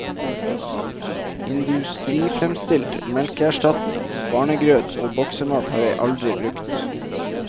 Industrifremstilt melkeerstatning, barnegrøt og boksemat har jeg aldri brukt.